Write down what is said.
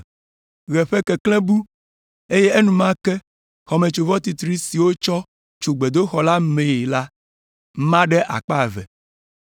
Ɣe ƒe keklẽ bu, eye enumake xɔmetsovɔ titri si wotsɔ tso gbedoxɔ la mee la ma ɖe akpa eve.